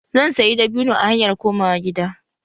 Zan sayi dabino a hanyar komawa gida.